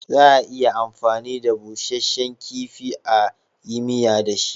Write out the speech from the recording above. Za a iya amfani da busashen kifi a yi miya da shi